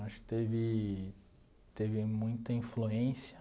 Acho que teve teve muita influência.